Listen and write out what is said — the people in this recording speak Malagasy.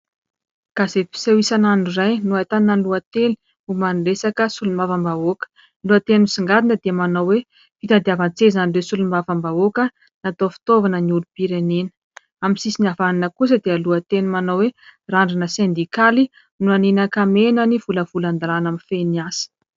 Gazety mpiseho isan'andro iray no ahitana lohateny momba ny resaka solombavambahoaka. Ny lohateny misongadina dia manao hoe : Fitadiavan-tsezan'ireo solombavambahoaka, natao fitaovana ny olom-pirenena. Amin'ny sisiny havanana kosa dia lohateny manao hoe : Randrana sendikaly, nolaniana an-kamehana ny volavolan-dalàna mifehy ny asa.